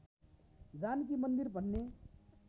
जानकी मन्दिर भन्ने